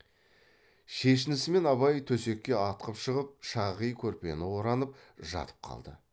шешінісімен абай төсекке атқып шығып шағи көрпені оранып жатып қалды